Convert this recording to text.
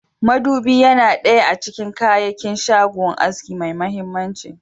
Madubi Yana daya a cikin kayakin shagon aski mai mahimmanci.